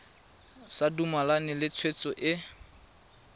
sa dumalane le tshwetso e